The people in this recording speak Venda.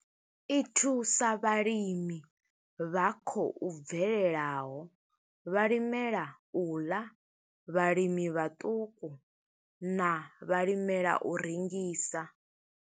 I thusa vhalimi vha khou bvelelaho, vhalimela u ḽa, vhalimi vhaṱuku na vhalimela u rengisa.